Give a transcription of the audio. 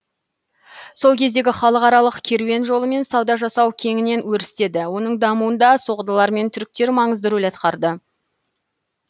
сол кездегі халықаралық керуен жолымен сауда жасау кеңінен өрістеді оның дамуында соғдылар мен түріктер маңызды рөл атқарды